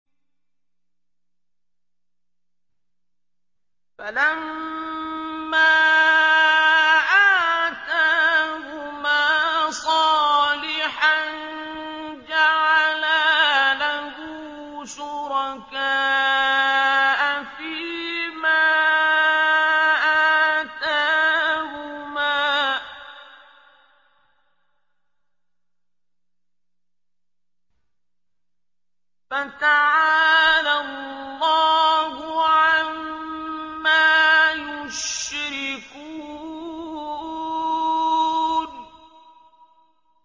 فَلَمَّا آتَاهُمَا صَالِحًا جَعَلَا لَهُ شُرَكَاءَ فِيمَا آتَاهُمَا ۚ فَتَعَالَى اللَّهُ عَمَّا يُشْرِكُونَ